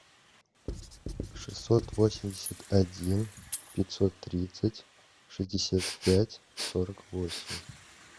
шестьсот восемьдесят один пятьсот тридцать шестьдесят пять сорок восемь